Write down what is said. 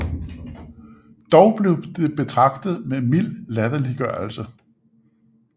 Dog blev det betragtet med mild latterliggørelse